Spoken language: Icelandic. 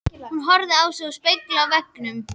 Hún horfði á sig í spegli á veggnum.